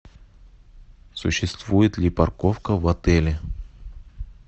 существует ли парковка в отеле